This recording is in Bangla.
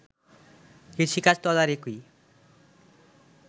কৃষিকাজ তদারকি